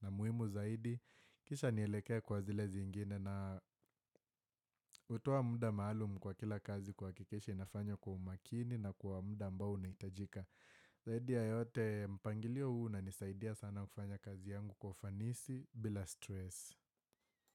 na muhimu zaidi. Kisha nielekee kwa zile zingine na hutoa mda maalumu kwa kila kazi kuhakikisha inafanywa kwa umakini na kwa mda ambao unahitajika. Zaidi ya yote mpangilio huu unanisaidia sana kufanya kazi yangu kwa ufanisi bila stress.